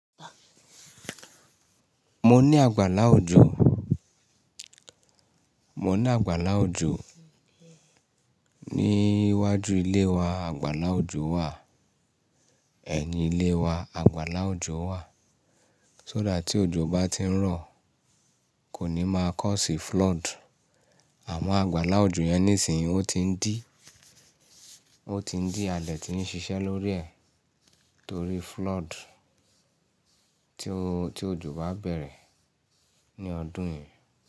Mo ní àgbàlá òjò, mo ní àgbàlá òjò. Ní iwájú ilé wa àgbàlá òjò wà, ẹ̀yin ilé wa àgbàlá òjò wà. Só that tí òjò bá ti ń rọ̀ kò ní máa cause í flood. Àwọn àgbàlá òjò yẹn nísìnyí ó ti ń dí, ó ti ń dí. Adẹ́ ti ń ṣiṣẹ́ lórí ẹ̀ torí flood tí ó, tí òjò bá bẹ̀rẹ̀ ní ọdún yìí.